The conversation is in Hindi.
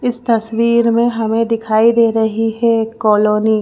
इस तस्वीर में हमें दिखाई दे रही है कॉलोनी ।